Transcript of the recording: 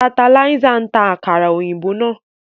Tanterlizer ń ta àkàrà òyìnbó náà